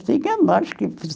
E tinha mais que